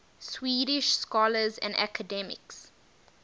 swedish scholars and academics